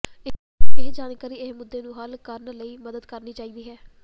ਇਹ ਜਾਣਕਾਰੀ ਇਹ ਮੁੱਦੇ ਨੂੰ ਹੱਲ ਕਰਨ ਲਈ ਮਦਦ ਕਰਨੀ ਚਾਹੀਦੀ ਹੈ